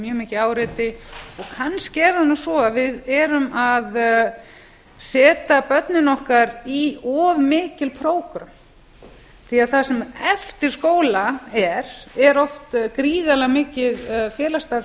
mjög mikið áreiti og kannski er það nú svo að við erum að setja börn okkar í of mikil prógröm það sem eftir skóla er er oft gríðarlega mikið félagsstarf